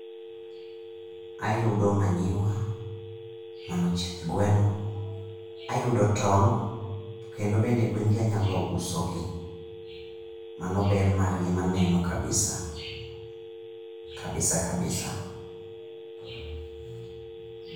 Ayudo manyiwa, mano chieth gweno. Ayudo tong' to kendo bende gwen gi anyalo uso gi. Mano ber margi maneno kabisa, kabisa kabisa.